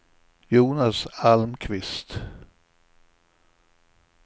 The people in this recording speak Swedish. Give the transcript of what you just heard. Jonas Almqvist